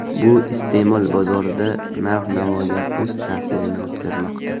Bu iste’mol bozorida narx-navoga o‘z ta’sirini o‘tkazmoqda.